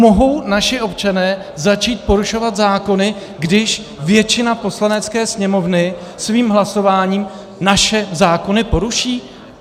Mohou naši občané začít porušovat zákony, když většina Poslanecké sněmovny svým hlasováním naše zákony poruší?